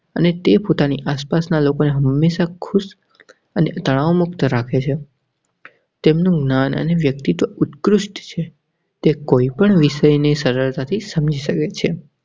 અને તે પોતાની આસપાસના લોકોને હમેશા ખુશ અને તનાવ મુક્ત રાખે છે. તેમનાને વ્યક્તિ તો ઉત્કૃષ્ટ છે. કોઈ પણ વિષય ને સરળતા થી સમજી શકે છે.